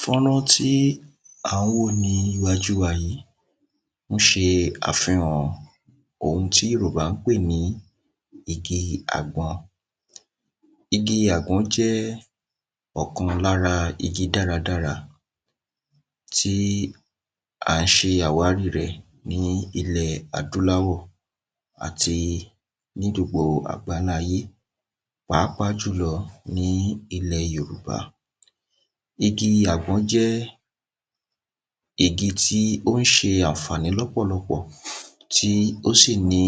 fọ́nrán tí à ń wò níwájú wa yìí, ó ṣe àfihàn ohun tí yòrùbá pè ní igi àgbọn igi àgbọn jẹ́ ọ̀kan lára igi dáradára tí a ṣe àwári rẹ̀ ní ilẹ̀ adúláwọ̀ àti ní gbogbo àgbáláayé pàápàá jùlọ ní ilẹ̀ Yorùbá. Igi àgbọn jẹ́ igi tí ó ń ṣe àǹfàní lọ́pọ̀lọpọ̀ tí ò sì ní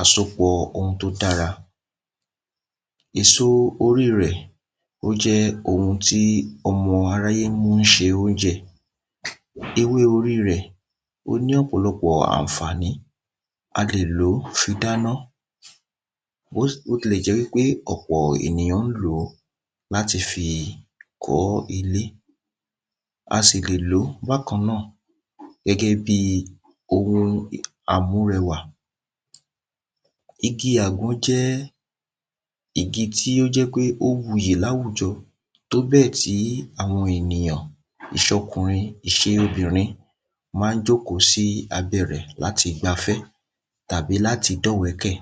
àsopọ̀ ohun tó dára. èso orí rẹ̀ ó jẹ́ ohun tí ọmọ aráyé mú ṣe óúnjẹ, ewé orí rẹ̀ ó ní ọ̀pọ̀lọpọ̀ àǹfàní, a lè lòó fi dáná bótilẹ̀jẹ́ pé ọ̀pọ̀ ènìyàn lò ó láti fi kọ́ ilé a sì lè lòó bákanáà gẹ́gẹ́ bíi ohun àmúrẹwà igi àgbọn jẹ́ igi tí ó jẹ́ pé ó wuyì ní àwùjọ tóbẹ̀ tí àwọn ènìyàn, ìsọkùnrin, ìṣobìnrin máa jókòó sí abẹ́ rẹ̀ láti gbafẹ́, tàbi láti dọ́wẹ̀ẹ́kẹ̀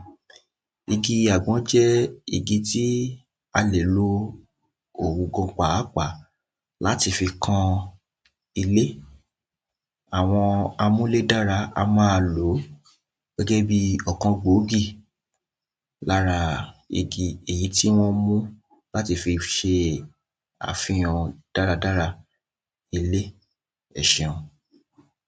igi àgbọn jẹ́ igi tí a lè lò òun gan pàápàá láti fi kan ilé àwọn amúlédára á ma lò ó gẹ́gẹ́ bíi ọ̀kan gbòógì lára igi èyí tí wọ́n mú láti fi ṣe àfihàn dáradára ilé, ẹ ṣeun